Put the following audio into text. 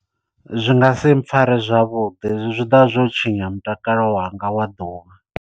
Zwi nga si mpfhare zwavhuḓi zwi ḓovha zwo tshinya mutakalo wanga wa ḓuvha.